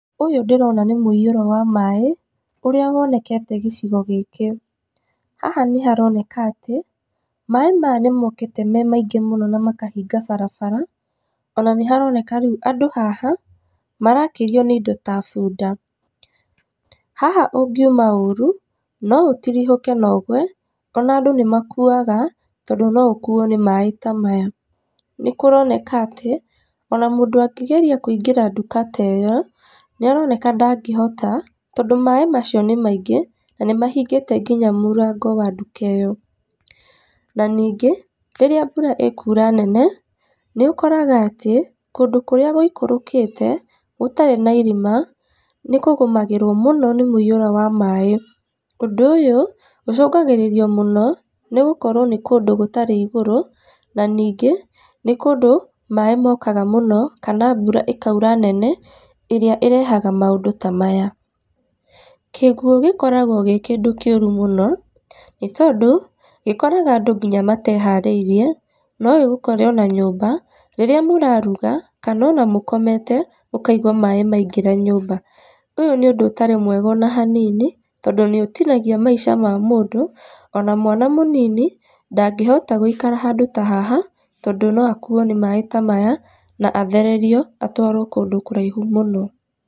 Ũyũ ndĩrona nĩ mũiyũro wa maaĩ, ũrĩa wonekete gĩcigo gĩkĩ. Haha nĩharoneka atĩ, maaĩ maya nĩmokĩte me maingĩ muno na makahinga barabara, ona nĩharoneka rĩu andũ haha, marakĩrio nĩindo ta bunda. Haha ũngiuma ũru, noũtirihũke na ũgwe, ona andũ nĩmakuaga, tondũ noũkuo nĩ maaĩ ta maya. Nĩkũroneka atĩ, ona mũndũ angĩgeria kũingĩra nduka ya ĩyo, nĩaroneka ndangĩhota, tondũ maaĩ macio nĩ maingĩ, na nĩmahingĩte nginya mũrango wa nduka ĩyo. Na ningĩ, rĩrĩa mbura ĩkura nene, nĩũkoraga atĩ, kũndũ kũrĩa gũikũrũkĩte, gũtarĩ na irĩma, nĩkũgũmagĩrwo mũno nĩ mũiyũro wa maaĩ. Ũndũ ũyũ, ũcũngagĩrĩrio mũno, nĩgũkorwo nĩ kũndũ gũtarĩ igũrũ, na ningĩ, nĩ kũndũ, maaĩ mokaga mũno, kana mbura ĩkaura nene, ĩrĩa ĩrehaga maũndũ ta maya. Kĩguũ gĩkoragwo gĩ kĩndũ kĩũru mũno, nĩ tondũ, gĩkoraga andũ nginya mateharĩirie, nogĩgũkore ona nyũmba, rĩrĩa mũraruga, kana ona mũkomete, mũkaigua maaĩ maingĩra nyũmba. Ũyũ nĩ ũndũ ũtarĩ mwega ona hanini, tondũ nĩũtinagia maisha ma mũndũ, ona mwana mũnini, ndangĩhota gũikara handũ ta haha, tondũ noakuo nĩ maaĩ ta maya, na athererio, atwarwo kũndũ kũraihu mũno.